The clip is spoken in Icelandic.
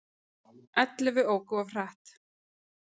Ellefu óku of hratt